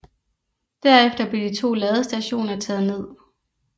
Derefter blev de to ladestationer taget ned